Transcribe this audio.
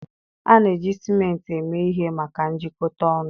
A na-eji ciment eme ihe maka njikọta ọnụ.